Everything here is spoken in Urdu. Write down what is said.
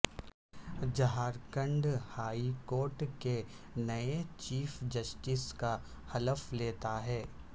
جھارکھنڈ ہائی کورٹ کے نئے چیف جسٹس کا حلف لیتا ہے